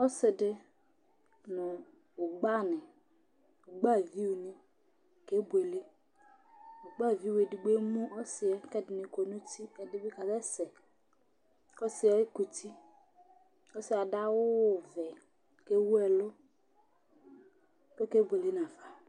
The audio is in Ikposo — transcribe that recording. Ɔsiɖi ŋu ʋgbavi ni, ʋgbaviʋ ni kebʋele Ʋgbaviʋ ɛɖigbo ɛmu ɔsiɛ kʋ ɛɖìní kɔ ŋu uti Ɛɖìbi kasɛsɛ kʋ ɔsiɛ kʋti Ɔsiɛ aɖu awu vɛ kʋ ewu ɛlu kʋ ɔkebʋele nafa